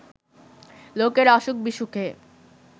লোকের অসুখ-বিসুখে